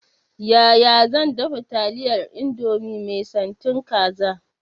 Yaya zan dafa taliyar indomie mai santin kaza?